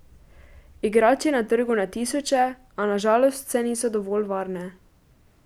Igrač je na trgu na tisoče, a na žalost vse niso dovolj varne.